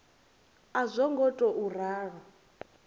a zwo ngo tou ralo